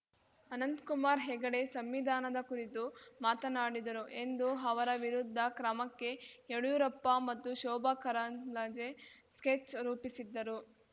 ಅನಂತಕುಮಾರ್‌ ಹೆಗಡೆ ಸಂವಿಧಾನದ ಕುರಿತು ಮಾತನಾಡಿದರು ಎಂದು ಅವರ ವಿರುದ್ಧ ಕ್ರಮಕ್ಕೆ ಯಡಿಯೂರಪ್ಪ ಮತ್ತು ಶೋಭಾ ಕರಂದ್ಲಾಜೆ ಸ್ಕೆಚ್‌ ರೂಪಿಸಿದ್ದರು